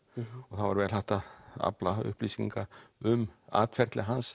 það var vel hægt að afla upplýsinga um atferli hans